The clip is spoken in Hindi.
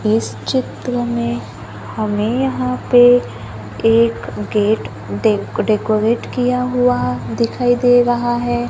इस चित्र में हमे यहां पे एक गेट डेक डेकोरेट किया हुआ दिखाई दे रहा है।